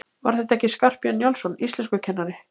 Var þetta ekki Skarphéðinn Njálsson, íslenskukennari?